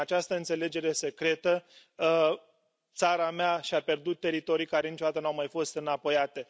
Prin această înțelegere secretă, țara mea și a pierdut teritorii care niciodată nu au mai fost înapoiate.